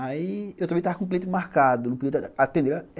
Aí eu também estava com o cliente marcado, não podia atender.